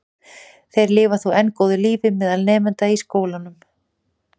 Þeir lifa þó enn góðu lífi meðal nemenda í skólum landsins.